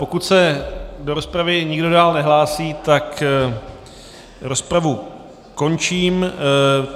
Pokud se do rozpravy nikdo dále nehlásí, tak rozpravu končím.